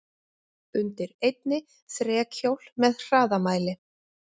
Undir einni þrekhjól með hraðamæli.